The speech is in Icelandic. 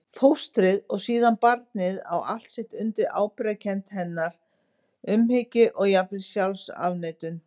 Fóstrið og síðan barnið á allt sitt undir ábyrgðarkennd hennar, umhyggju og jafnvel sjálfsafneitun.